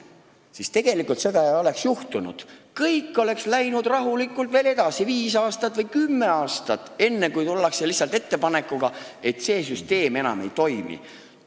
Muidu ei oleks seda kõike tegelikult juhtunud, kõik oleks läinud rahulikult edasi veel viis või kümme aastat, enne kui oleks tuldud lihtsalt ettepanekuga, et see süsteem enam ei toimi.